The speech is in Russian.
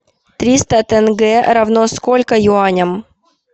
триста тенге равно сколько юаням